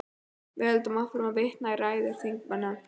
Við höldum áfram að vitna í ræður þingmanna.